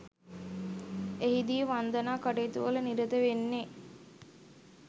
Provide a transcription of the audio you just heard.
එහිදී වන්දනා කටයුතුවල නිරත වෙන්නේ